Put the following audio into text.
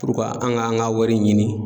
purukuwa an ga an ga wari ɲini